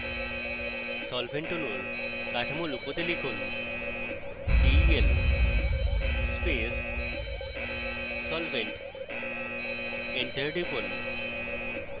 solvent অণুর কাঠামো লুকোতে লিখুন del মুছে ফেলতে space solvent এন্টার টিপুন